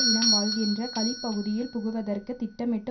இனம் வாழ்கின்ற கலி பகுதியில் புகுவதற்கு திட்டமிட்டு